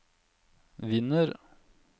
vinner